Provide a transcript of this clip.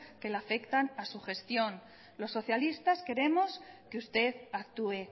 que le afectan a su gestión los socialistas queremos que usted actúe